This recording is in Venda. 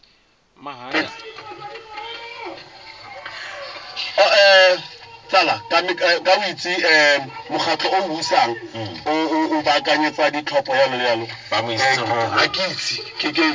mahaya a vhana ndi tsumbo